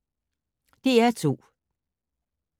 DR2